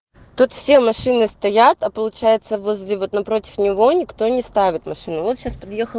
тут все машины стоят а получается возле напротив него никто не ставит машину вот сейчас подьехал